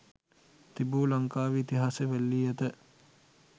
තිබු ලංකාවේ ඉතිහාසය වැළලී ඇත.